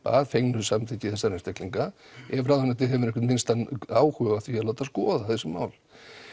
að fengnu samþykki þessara einstaklinga ef ráðuneytið hefur einhvern minnsta á huga á því að láta skoða þessi mál